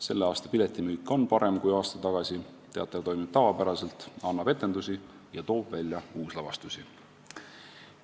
Selle aasta piletimüük on parem kui aasta tagasi, teater toimib tavapäraselt, annab etendusi ja toob välja uuslavastusi.